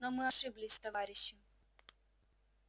но мы ошиблись товарищи